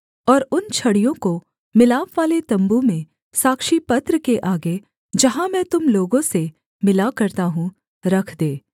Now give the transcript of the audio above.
और उन छड़ियों को मिलापवाले तम्बू में साक्षीपत्र के आगे जहाँ मैं तुम लोगों से मिला करता हूँ रख दे